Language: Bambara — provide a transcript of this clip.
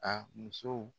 A muso